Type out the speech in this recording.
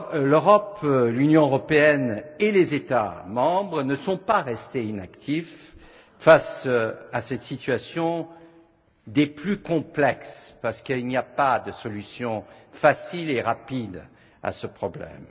L'Europe, l'Union européenne et les États membres ne sont pas restés inactifs face à cette situation des plus complexes, parce qu'il n'y a pas de solution facile et rapide à ce problème.